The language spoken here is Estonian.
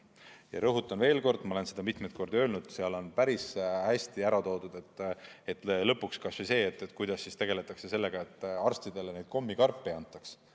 Ja rõhutan veel kord, ma olen seda mitmeid kordi öelnud, et seal on päris hästi ära toodud, kuidas tegeldakse sellega, et arstidele kommikarpe ei antaks.